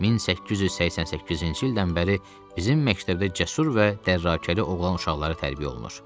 1888-ci ildən bəri bizim məktəbdə cəsur və dərrakəli oğlan uşaqları tərbiyə olunur.